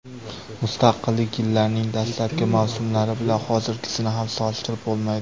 Mustaqillik yillarining dastlabki mavsumlari bilan hozirgisini ham solishtirib bo‘lmaydi.